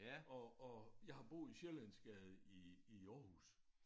Og og jeg har boet i Sjællandsgade i i Aarhus